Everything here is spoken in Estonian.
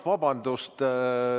Vabandust!